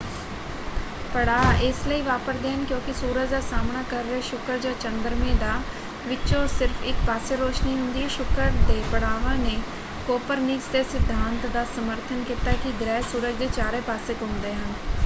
ਪੜਾਅ ਇਸ ਲਈ ਵਾਪਰਦੇ ਹਨ ਕਿਉਂਕਿ ਸੂਰਜ ਦਾ ਸਾਹਮਣਾ ਕਰ ਰਿਹਾ ਸ਼ੁਕਰ ਜਾਂ ਚੰਦਰਮੇ ਦਾ ਵਿਚੋਂ ਸਿਰਫ਼ ਇਕ ਪਾਸੇ ਰੌਸ਼ਨੀ ਹੁੰਦੀ ਹੈ। ਸ਼ੁਕਰ ਦੇ ਪੜਾਵਾਂ ਨੇ ਕੋਪਰਨਿਕਸ ਦੇ ਸਿਧਾਂਤ ਦਾ ਸਮਰਥਨ ਕੀਤਾ ਕਿ ਗ੍ਰਹਿ ਸੂਰਜ ਦੇ ਚਾਰੇ ਪਾਸੇ ਘੁੰਮਦੇ ਹਨ।